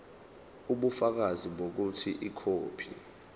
ubufakazi bokuthi ikhophi